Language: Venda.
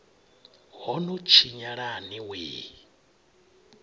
ho no tshinyala ni wee